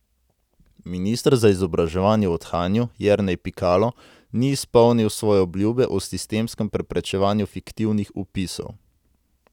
Minister za izobraževanje v odhajanju Jernej Pikalo ni izpolnil svoje obljube o sistemskem preprečevanju fiktivnih vpisov.